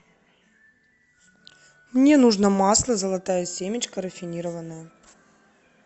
мне нужно масло золотая семечка рафинированное